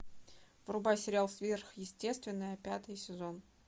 врубай сериал сверхъестественное пятый сезон